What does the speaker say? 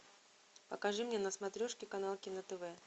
покажи мне на смотрешке канал кино тв